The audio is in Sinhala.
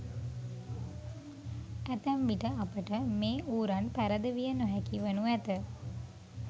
ඇතැම් විට අපට මේ ඌරන් පැරදවිය නොහැකි වනු ඇත.